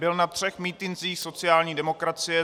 Byl na třech mítincích sociální demokracie.